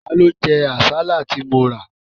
Ta ló jẹ àsálà tí mo rà?